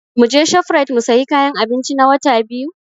Muje Shofrait mu sayi kayan abinci na Wata Biyu?